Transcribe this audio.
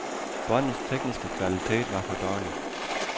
Båndets tekniske kvalitet var for dårlig.